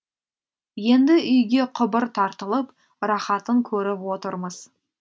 енді үйге құбыр тартылып рахатын көріп отырмыз